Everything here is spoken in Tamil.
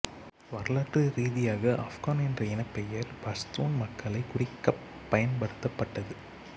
வரலாற்று ரீதியாக ஆஃப்கான் என்ற இனப்பெயர் பஷ்தூன் மக்களைக் குறிக்கப் பயன்படுத்தப்பட்டது